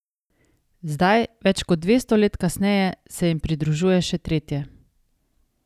Zdaj, več kot dvesto let kasneje, se jim pridružuje še tretje.